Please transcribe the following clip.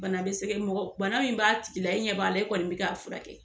Bana be sege mɔgɔ bana min b'a tigi la e ɲɛ b'a la e kɔni be k'a furakɛ